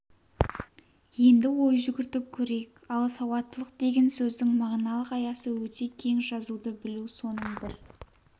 енді ой жүгіртіп көрейік ал сауаттылық деген сөздің мағыналық аясы өте кең жазуды білу соның бір